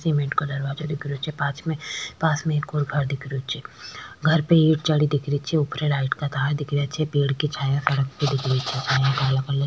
cement colour दिख रियो छे पास में पास में एक और घर दिख रियो छे घर पे ईट चढ़ी दिख री छे ऊपर लाइट का तार दिख रिया छे पेड़ की छाया सड़क पे दिख री छे --